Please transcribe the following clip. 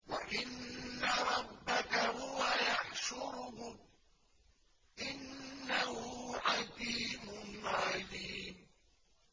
وَإِنَّ رَبَّكَ هُوَ يَحْشُرُهُمْ ۚ إِنَّهُ حَكِيمٌ عَلِيمٌ